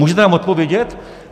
Můžete nám odpovědět?